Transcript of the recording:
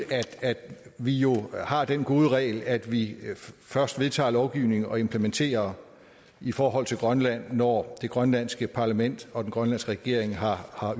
at vi jo har den gode regel at vi først vedtager lovgivning og implementerer i forhold til grønland når det grønlandske parlament og den grønlandske regering har